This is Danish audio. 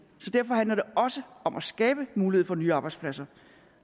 så derfor handler det også om at skabe mulighed for nye arbejdspladser